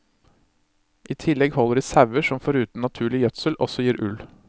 I tillegg holder de sauer som foruten naturlig gjødsel også gir ull.